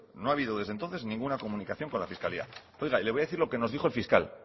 no ha habido desde entonces ninguna comunicación con la fiscalía y oiga le voy a decir lo que nos dijo el fiscal